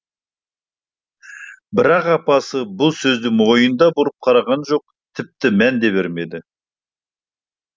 бірақ апасы бұл сөзге мойын да бұрып қараған жоқ тіпті мән де бермеді